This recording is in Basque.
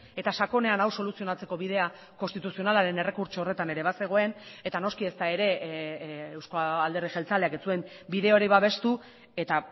eta sakonean hau soluzionatzeko bidea konstituzionalaren errekurtso horretan ere bazegoen eta noski ezta ere euzko alderdi jeltzaleak ez zuen bide hori babestu eta